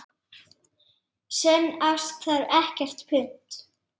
Sönn ást þarf ekkert punt.